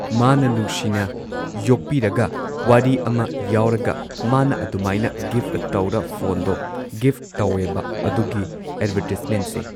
ꯃꯥꯅ ꯅꯨꯡꯁꯤꯅ ꯌꯣꯛꯄꯤꯔꯒ ꯋꯥꯔꯤ ꯑꯃ ꯌꯥꯎꯔꯒ ꯃꯥꯅ ꯑꯗꯨꯃꯥꯏꯅ ꯒꯤꯐ ꯇꯧꯔ ꯐꯣꯟꯗꯣ ꯒꯤꯐ ꯇꯧꯋꯦꯕ ꯑꯗꯨꯒꯤ ꯑꯦꯗꯕꯔꯇꯤꯁꯃꯦꯟꯠꯁꯦ